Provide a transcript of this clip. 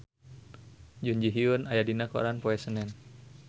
Jun Ji Hyun aya dina koran poe Senen